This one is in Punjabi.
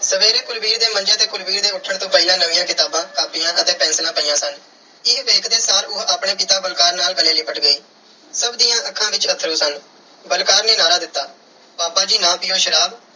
ਸਵੇਰੇ ਕੁਲਵੀਰ ਦੇ ਮੰਜੇ ਤੇ ਕੁਲਵੀਰ ਦੇ ਉੱਠਣ ਤੋੋਂ ਪਹਿਲਾਂ ਨਵੀਆਂ ਕਿਤਾਬਾਂ, ਕਾਪੀਆਂ ਅਤੇ ਪੈਨਸਿਲਾਂ ਪਈਆਂ ਸਨ। ਇਹ ਵੇਖਦੇ ਸਾਰ ਉਹ ਆਪਣੇ ਪਿਤਾ ਬਲਕਾਰ ਨਾਲ ਗਲੇ ਲਿਪਟ ਗਈ। ਸਭ ਦੀਆਂ ਅੱਖਾਂ ਵਿੱਚ ਅੱਥਰੂ ਸਨ। ਬਲਕਾਰ ਨੇ ਨਾਅਰਾ ਦਿੱਤਾ ਪਾਪਾ ਜੀ ਨਾ ਪੀਓ ਸ਼ਰਾਬ,